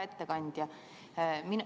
Hea ettekandja!